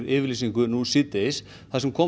yfirlýsingu nú síðdegis þar sem